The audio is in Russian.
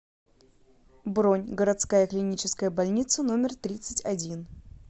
бронь городская клиническая больница номер тридцать один